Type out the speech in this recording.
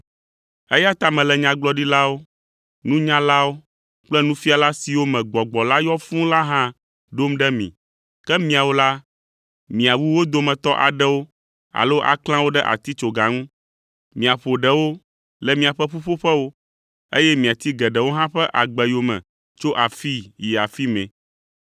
Eya ta mele nyagblɔɖilawo, nunyalawo kple nufiala siwo me Gbɔgbɔ la yɔ fũu la hã ɖom ɖe mi, ke miawo la, miawu wo dometɔ aɖewo alo aklã wo ɖe atitsoga ŋu, miaƒo ɖewo le miaƒe ƒuƒoƒewo, eye miati geɖewo hã ƒe agbe yome tso afii yi afi mɛ.